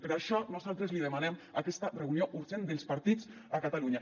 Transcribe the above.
per això nosaltres li demanem aquesta reunió urgent dels partits a catalunya